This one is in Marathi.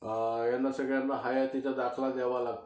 ह्यांना सगळ्यांना हयातीचा दाखला द्यावा लागतो.